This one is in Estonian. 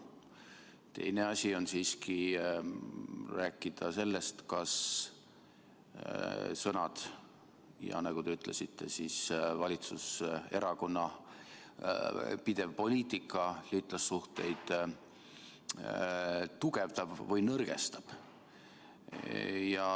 Teine asi on rääkida sellest, kas sõnad ja – nagu te ütlesite – valitsuserakonna pidev poliitika liitlassuhteid tugevdab või nõrgestab.